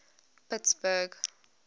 pittsburgh